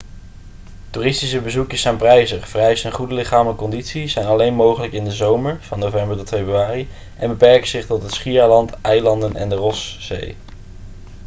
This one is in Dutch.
toeristische bezoekjes zijn prijzig vereisen een goede lichamelijke conditie zijn alleen mogelijk in de zomer van november tot februari en beperken zich tot het schiereiland eilanden en de rosszee